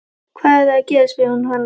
Hvað ertu að gera? spurði hún hranalega.